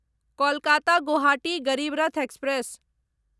Kolkata Guwahati Garib Rath express